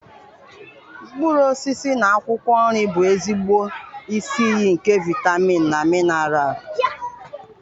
Mkpụrụ osisi na akwụkwọ nri bụ ezigbo isi iyi nke vitamin na minaral.